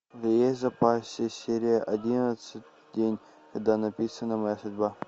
есть в запасе серия одиннадцать день когда написана моя судьба